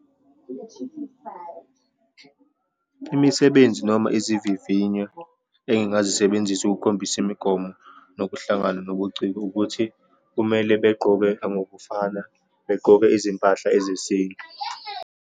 Imisebenzi noma izivivinyo engingazisebenzisa ukukhombisa imigomo, nokuhlangana, nobuciko, ukuthi kumele begqoke ngokufana, begqoke izimpahla ezesintu.